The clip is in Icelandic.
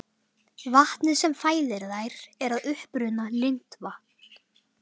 Vatnið sem fæðir þær er að uppruna lindavatn.